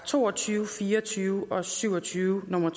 to og tyve fire og tyve og syv og tyve nummer